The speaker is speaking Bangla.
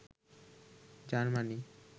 জার্মানি